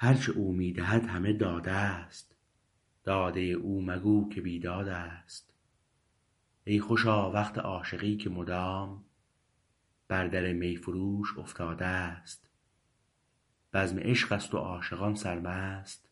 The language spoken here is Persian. هرچه او می دهد همه داده است داده او مگو که بیداد است ای خوشا وقت عاشقی که مدام بر در میفروش افتاده است بزم عشقست و عاشقان سرمست